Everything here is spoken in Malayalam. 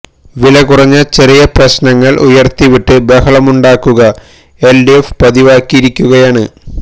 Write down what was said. വിലകുറഞ്ഞ ചെറിയ പ്രശ്നങ്ങള് ഉയര്ത്തിവിട്ട് ബഹളമുണ്ടാക്കുക എല് ഡി എഫ് പതിവാക്കിയിരിക്കുകയാണ്